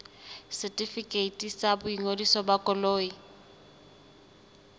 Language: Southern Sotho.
setefikeiti sa boingodiso ba koloi